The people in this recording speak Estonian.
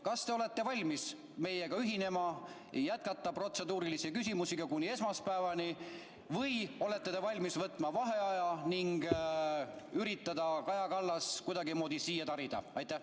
Kas te olete valmis meiega ühinema ja jätkama protseduuriliste küsimustega kuni esmaspäevani või olete te valmis võtma vaheaja, et üritada Kaja Kallas kuidagimoodi siia tarida?